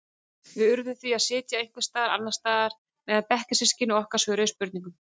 Við urðum því að sitja einhvers staðar annars staðar meðan bekkjarsystkini okkar svöruðu spurningunum.